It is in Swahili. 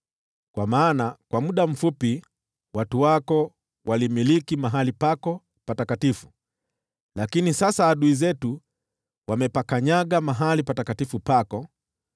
Kwa maana kwa muda mfupi watu wako walimiliki mahali pako patakatifu, lakini sasa adui zetu wamepakanyaga mahali patakatifu pako.